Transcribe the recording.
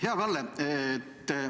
Hea Kalle!